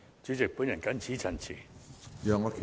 主席，我謹此陳辭。